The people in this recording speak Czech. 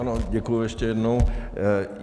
Ano, děkuji ještě jednou.